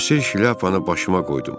Həsir şlyapanı başıma qoydum.